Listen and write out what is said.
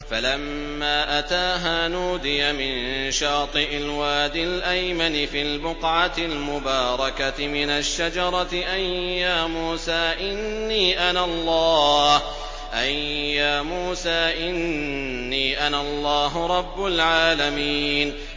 فَلَمَّا أَتَاهَا نُودِيَ مِن شَاطِئِ الْوَادِ الْأَيْمَنِ فِي الْبُقْعَةِ الْمُبَارَكَةِ مِنَ الشَّجَرَةِ أَن يَا مُوسَىٰ إِنِّي أَنَا اللَّهُ رَبُّ الْعَالَمِينَ